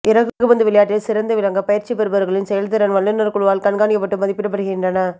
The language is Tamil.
இறகுப்பந்து விளையாட்டில் சிறந்து விளங்க பயிற்சி பெறுபவர்களின் செயல்திறன் வல்லுநர் குழுவால் கண்காணிக்கப்பட்டு மதிப்பிடப்படுகின்றன